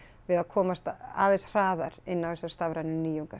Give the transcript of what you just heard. við að komast aðeins hraðar inn á þessar stafrænu nýjungar